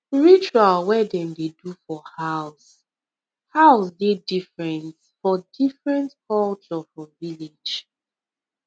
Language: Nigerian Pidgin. ritual wey dem dey do for house house dey different for different culture for village